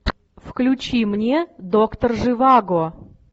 включи мне доктор живаго